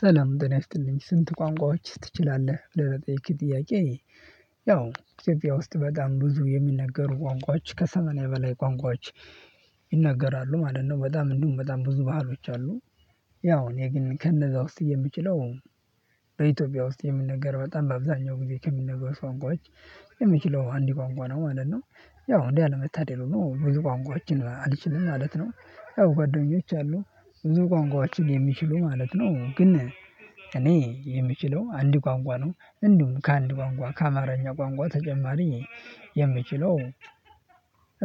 ሰላም ጤና ይስጥልኝ ስንት ቋንቋዎች ትችላለህ ብለህ ለጠይቅሀኝ ጥያቄ? ያው ውስጥ በጣም ብዙ የሚነገሩ ቋንቋዎች ከሰማንያ በላይ ቋንቋዎች ይናገራሉ ማለት ነው። በጣም እንዲሁም በጣም ብዙ ባህሎች አሉ። ያው እኔ ግን ከነዛ ውስጥ የምችለው በኢትዮጵያ ውስጥ የሚነገር በጣም በአብዛኛው ጊዜ ከሚነገሩት ቋንቋች የምችለው አንድ ቋንቋ ነው ማለት ነው። ያው እንዴ አለመታደል ብዙ ቋንቋዎችን አልችልም ማለት ነው። ያው ጓደኞች አሉ ብዙ ቋንቋዎችን የሚችሉ ማለት ነው ግን። እኔ የምችለው አንድ ቋንቋ ነው እንዲሁም ከአንድ ቋንቋ ከአማርኛ ቋንቋ ተጨማሪ። የምችለው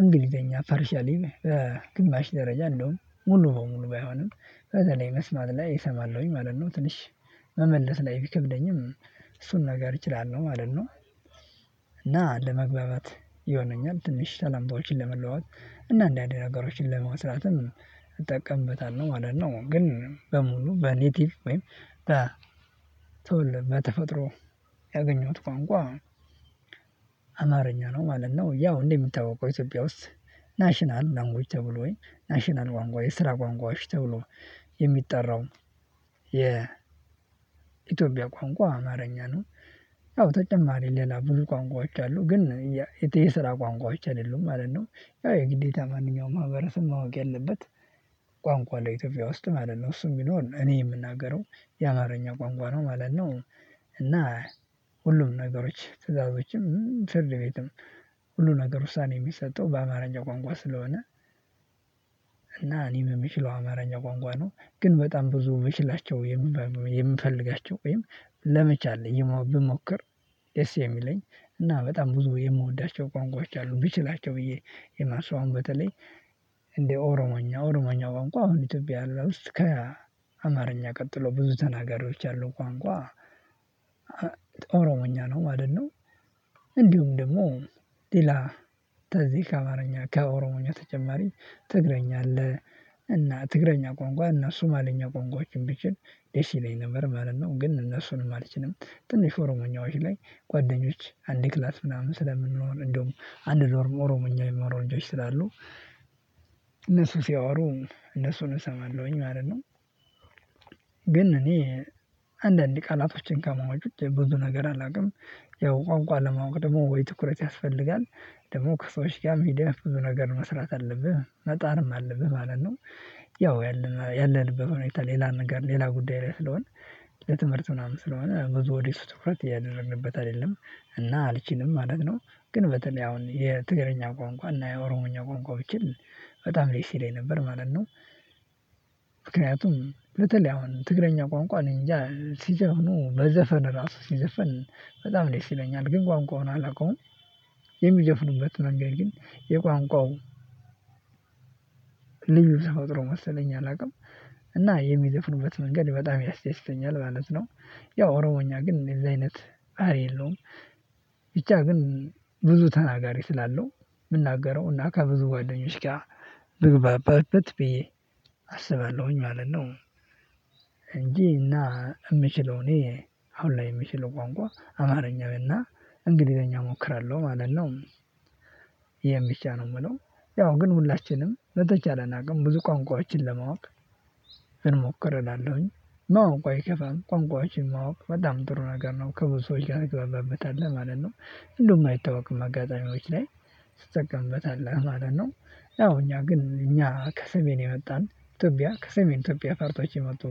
እንግሊዘኛ ፓርሻሊ ግማሽ ደረጃ እንደውም ሙሉ በሙሉ ባይሆንም ከዛ ላይ መስማት ላይ እሰማለሁኝ ማለት ነው። ትንሽ መመለስ ላይ ቢከብደኝም እሱን ነገር እችላለሁ ማለት ነው። እና ለመግባባት ይሆነኛል ትንሽ ሰላምታዎችን ለመለዋወጥ እና እንዳንድ ነገሮችን ለመስራትም እጠቀምበታለሁ ማለት ነው። ግን በሙሉ በኔቲቭ ወይም ተወልድ በተፈጥሮ ያገኘሁት ቋንቋ አማርኛ ነው ማለት ነው። ያው እንደሚታወቀው ኢትዮጵያ ውስጥ ናሽናል ላንጉጅ ተብሎኝ ናሽናል ቋንቋ የስራ ቋንቋዎች ተብሎ የሚጠራው የ ኢትዮጵያ ቋንቋ አማርኛ ነው። ያው ተጨማሪ ሌላ ብዙ ቋንቋዎች አሉ ግን የትዬ የስራ ቋንቋዎች አይደሉም ማለት ነው። ያው የግዴታ ማንኛውም ማህበረሰብ ማወቅ ያለበት ቋንቋ ለኢትዮጵያ ውስጥ ማለት ነው። እሱ የሚኖር እኔ የምናገረው የአማርኛ ቋንቋ ነው ማለት ነው። እና ሁሉም ነገሮች ትዕዛዞችም ፍርድ ቤትም ሁሉ ነገር ውሳኔ የሚሰጠው በአማርኛ ቋንቋ ስለሆነ። እና እኔም ምችለው አማርኛ ቋንቋ ነው። ግን በጣም ብዙ ምችላቸው የምፈልጋቸው ወይም ለመቻል ብሞክር ደስ የሚለኝ እና በጣም ብዙ የምወዳቸው ቋንቋዎች አሉ ብችላቸው ብዬ የማስበው አሁን በተለይ እንደ ኦሮሞኛ ኦሮሞኛ ቋንቋ አሁን ኢትዮጵያ ላይ ውስጥ ከአማርኛ ቀጥሎ ብዙ ተናጋሪዎች ያሉት ቋንቋ ኦሮሞኛ ነው ማለት ነው። እንዲሁም ደግሞ ሌላ ተዚ ከአማርኛ ከኦሮሞኛ ተጨማሪ ትግረኛ አለ። እና ትግረኛ ቋንቋ እና ሱማለኛ ቋንቋዎችን ብችል ዴሲ ይለኝ ነበር ማለት ነው። ግን እነሱንም አልችልም ትንሽ ኦሮሞኛዎች ላይ ጓደኞች አንድ ክላስ ምናምን ስለምንሆን እንደውም አንድ ዶርም ኦሮሞኛ የሚወሩ ልጆች ስላሉ እነሱ ሲያወሩ እነሱን እሰማለሁኝ ማለት ነው። ግን እኔ አንዳንድ ቃላቶችን ከማወቅ ብዙ ነገር አላውቅም። ያው ቋንቋ ለማወቅ ደግሞ ወይ ትኩረት ያስፈልጋል። ደግሞ ከሰዎች ጋር ሚዲያ ብዙ ነገር መስራት አለብህ መጣርም አለብህ ማለት ነው። ያው ያለንበት ሁኔታ ሌላ ነገር ሌላ ጉዳይ ላይ ስለሆነ ለትምህርት ምናምን ስለሆነ ብዙ ወዲህ እሱ እያደረንበት አይደለም እና አልችንም ማለት ነው። ግን በተለይ አሁን የትግርኛ ቋንቋ እና የኦሮሞኛ ቋንቋ ብችል በጣም ልክ ዴስ ይለኝ ነበር ማለት ነው። ምክንያቱም በተለይ አሁን ትግረኛ ቋንቋ እኔ እንጃ ሲጀኑ በዘፈን ራሱ ሲዘፈን በጣም ደስ ይለኛል ነው ግን ቋንቋውን አላውቀውም። የሚዘፍኑበት መንገድ ግን የቋንቋው ልዩ ተፈጥሮ መሰለኝ አላውቅም። እና የሚዘፍኑበት መንገድ በጣም ያስደስተኛል ማለት ነው። ያው ኦሮሞኛ ግን እንደዚህ አይነት ሀይል የለሁም። ብቻ ግን ብዙ ተናጋሪ ስላለው የምናገረው እና ከብዙ ጓደኞች ጋር ብግባባበት ብዬ አስባለሁኝ ማለት ነው። እንጂ እና የምችለው እኔ አሁን ላይ የምችለው ቋንቋ አማርኛ እና እንግሊዘኛ እሞክራለሁ ማለት ነው። ይሄን ብቻ ነው የምለው። ያው ግን ሁላችንም መተቻለን አቅም ብዙ ቋንቋዎችን ለማወቅ እንሞክር እላለሁኝ። ማወቅ አይከፋም ቋንቋዎችን ማወቅ በጣም ጥሩ ነገር ነው ከብዙ ሰዎችጋር እገባበታለሁ ማለት ነው። እንደውም አይታወቅም አጋጣሚዎች ላይ ትጠቀምበታለህ ማለት ነው። ያው እኛ ግን እኛ ከሰሜን የመጣን ኢትዮጵያ ከሰሜን ኢትዮጵያ ፋርታዎች የመጡ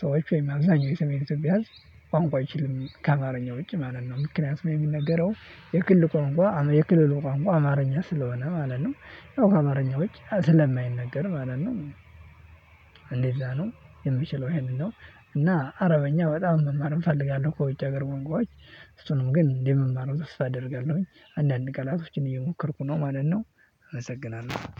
ሰዎች ወይም አብዛኛው የሰሜን ኢትዮጵያ ህዝብ ቋንቋ አይችልም ከአማርኛው ውጭ ማለት ነው ምክንያቱም የሚነገረው የክልል ቋንቋ የክልሉ ቋንቋ አማርኛ ስለሆነ ማለት ነው ከአማርኛ ውጭ ስለማይነገር ማለት ነው። እንደዛ ነው የምችለው ይሄንን ነው። እና አረበኛ በጣም መማር እፈልጋለሁ ከውጭ ሀገር ቋንቋዎች እሱንም ግን እንዴት መማር ውስጥ አደርጋለሁኝ አንዳንድ ቀላቶችን እየሞከርኩ ነው ማለት ነው። አመሰግናለሁ